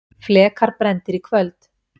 Flekar brenndir í kvöld